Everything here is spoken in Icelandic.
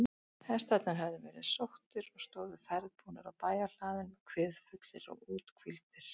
Hestarnir höfðu verið sóttir og stóðu ferðbúnir á bæjarhlaðinu, kviðfullir og úthvíldir.